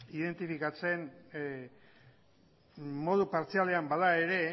identifikatzen modu partzialean bada ere